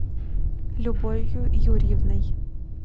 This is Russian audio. любовью юрьевной